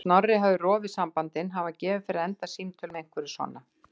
En Snorri hafði rofið sambandið, hann var gefinn fyrir að enda símtöl með einhverju svona.